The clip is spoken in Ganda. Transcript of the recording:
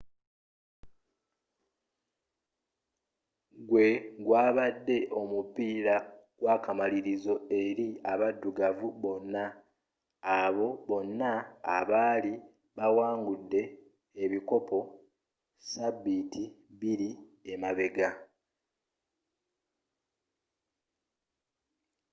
gwe gwabadde omupiira gw'akamalirizo eri abaddugavu bonna abo bonna abaali bawangudde ebikopo sabiiti bbiri emabega